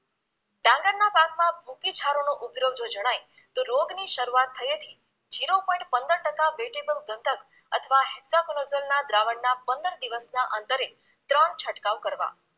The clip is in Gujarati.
પાકમાં ભૂકી છારોનો ઉપદ્રવ જો જણાય તો રોગની શરૂઆત થયેથી zero point પંદર ટકા વેટીમમ દત્તક અથવા હેક્ટાફેલોઝલના દ્રાવણના પંદર દિવસના અંતરે ત્રણ છંટકાવ કરવા